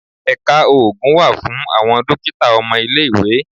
Ẹ̀ka oògùn wà fún àwọn dókítà ọmọ ilé-ìwé.